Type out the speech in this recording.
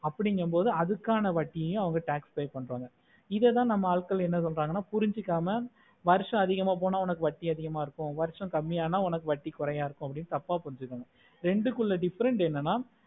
அப்புடிங்கமொடு அதுக்கான வட்டியேயும் அவங்க tax pay பண்றங்க இதுத நம்ம ஆட்கள் என்ன சொல்லறீங்க அப்புடின்னா புரிஞ்சிக்காம வருஷம் அதிகமா போன உனக்கு வட்டியும் அதிகமா இருக்கும் வர்ஷம் கம்மி அனா உனக்கு வட்டியும் குறைய இருக்கும் அப்டி தப்ப புரிஞ்சிருக்காங்க ரெண்டு குள்ள difference என்னனா